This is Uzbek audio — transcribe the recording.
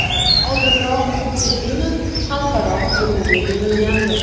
Oldinroq Muhiddinov xalqaro qidiruvga berilgandi.